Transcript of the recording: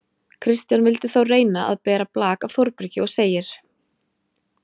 Kristján vildi þó reyna að bera blak af Þórbergi og segir: